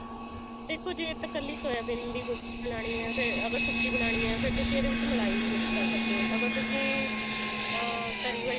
ਦੇਖੋ ਜੇ ਤਾਂ ਕੱਲੀ ਸੋਇਆਬੀਨ ਦੀ ਬਣਾਉਣੀ ਹੈ ਅਗਰ ਸੁੱਕੀ ਬਣਾਉਣੀ ਹੈ ਫ਼ੇਰ ਤੁਸੀਂ ਇਹਦੇ ਵਿੱਚ ਮਲਾਈ mix ਕਰ ਸਕਦੇ ਹੋ ਅਗਰ ਤੁਸੀਂ ਅਮ ਤਰੀ ਵਾਲੀ